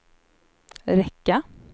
räcka